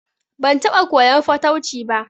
Ban taɓa koyan fatauci ba